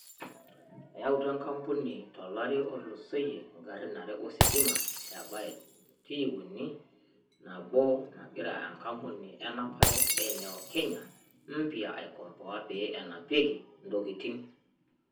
Eyautua enkampuni to lari otulosoyia ingarin are ositima e BYD T3, naboo nagira enkapuni enapare e Neo Kenya Mpya aikompoa pee enapiaki intokitin.